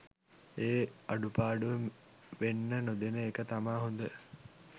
ඒ අඩුපාඩුව වෙන්න නොදෙන එක තමා හොඳ.